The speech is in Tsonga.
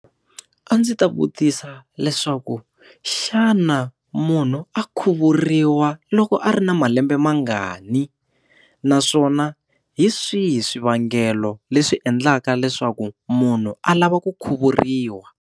A ndzi ta vutisa leswaku xana munhu a khuvuriwa loko a ri na malembe mangani naswona hi swihi swivangelo leswi endlaka leswaku munhu a lava ku khuvuriwa.